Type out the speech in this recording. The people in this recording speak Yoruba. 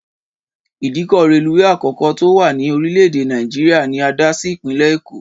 Ìdíkọ̀ reluwé àkọ́kọ́ tí ó wà ní orílè èdè Nàìjíríà ni a dá sí Ìpínlẹ̀ Èkó